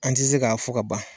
An tɛ se ka fɔ ka ban.